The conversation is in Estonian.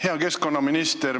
Hea keskkonnaminister!